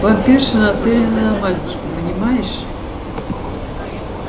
вампирша нацелена на мальчика понимаешь